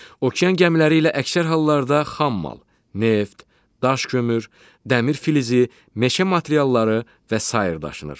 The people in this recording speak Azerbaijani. Okean gəmiləri ilə əksər hallarda xam mal, neft, daş kömür, dəmir filizi, meşə materialları və sair daşınır.